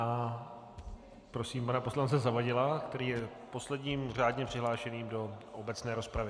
A prosím pana poslance Zavadila, který je posledním řádně přihlášeným do obecné rozpravy.